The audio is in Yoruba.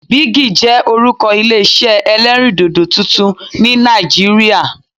Bigi' jẹ́ orúkọ Ilé isẹ́ ẹlẹ́rìndòdò tuntun ni Nàìjíríà